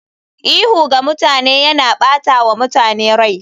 Ihu ga mutane yana ɓata wa mutane rai.